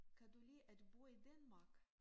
Kan du lide at bo i Danmark?